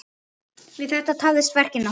Við þetta tafðist verkið nokkuð.